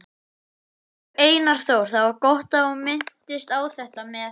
Elsku Einar Þór, það var gott að þú minntist á þetta með